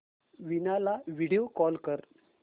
वीणा ला video call कर